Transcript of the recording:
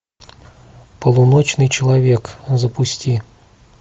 полуночный человек запусти